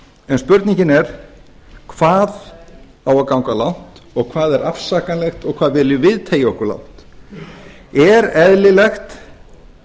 en spurningin er hvað á að ganga langt og hvað er afsakanlegt og hvað viljum við teygja okkur langt er eðlilegt